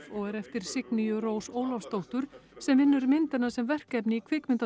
og er eftir Signýju Rós Ólafsdóttur sem vinnur myndina sem verkefni í